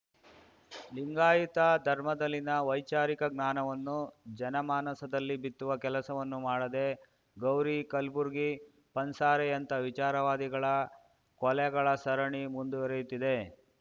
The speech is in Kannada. ಲಿಂಗಾಯತ ಧರ್ಮದಲ್ಲಿನ ವೈಚಾರಿಕ ಜ್ಞಾನವನ್ನು ಜನಮಾನಸದಲ್ಲಿ ಬಿತ್ತುವ ಕೆಲಸವನ್ನು ಮಾಡದೆ ಗೌರಿ ಕಲ್ಬುರ್ಗಿ ಪನ್ಸಾರೆಯಂಥ ವಿಚಾರವಾದಿಗಳ ಕೊಲೆಗಳ ಸರಣಿ ಮುಂದುವರಿಯುತ್ತಿದೆ